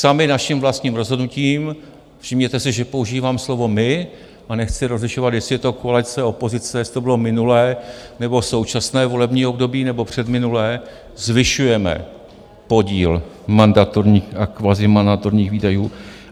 Sami naším vlastním rozhodnutím - všimněte si, že používám slovo my a nechci rozlišovat, jestli je to koalice, opozice, jestli to bylo minulé nebo současné volební období nebo předminulé - zvyšujeme podíl mandatorních a kvazimandatorních výdajů.